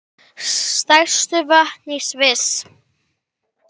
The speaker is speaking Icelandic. Stærstu vötn í Sviss